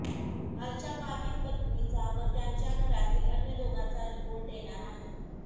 कालच्या बाधित पत्नीचा व त्यांच्या घरातील अन्य दोघांचा रिपोर्ट येणार आहे